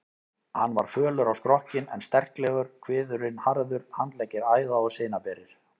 Hann var fölur á skrokkinn en sterklegur, kviðurinn harður, handleggir æða- og sinaberir.